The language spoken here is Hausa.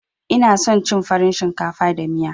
Ina son cin farin shinkafa da miya.